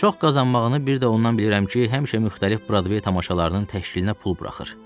Çox qazanmağını bir də ondan bilirəm ki, həmişə müxtəlif Brodvay tamaşalarının təşkilinə pul buraxır.